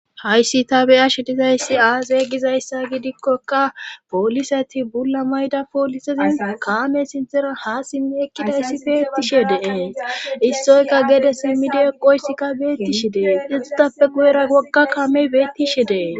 Hayssi tabeyashe dizayssi aazey gizayssa gidikkoka pooliseti bulla mayda poolisezin kaame sintera ha simmi ekkidayssi beettishe deee issoyka geede simmidi eqoysikka beettishe dee ixutappe guyera wogga kamey beettishe dee.